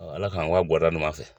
Ala k'an gɔ a gɔda ɲuman fɛ.